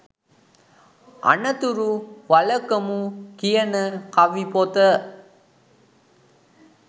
අනතුරු වලකමු කියන කවි පොත